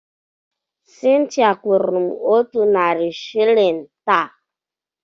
Cynthia kwụrụ m otu narị shịlịn taa.